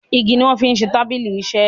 ìgi ní wón fí ṣe tábìlì iṣe